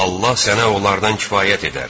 Allah sənə onlardan kifayət edər.